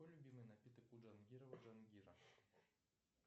какой любимый напиток у джангирова джангира